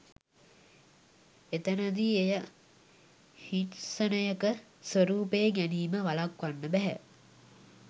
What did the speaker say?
එතැනදි එය හිංසනයක ස්වරූපය ගැනීම වළක්වන්න බැහැ